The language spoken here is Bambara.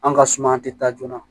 An ka suma tɛ taa joona